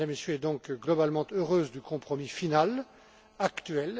est donc globalement heureuse du compromis final actuel.